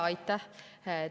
Aitäh!